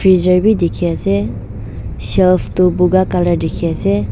bizar bhi dikhi ase shelf tu boga colour dikhi ase.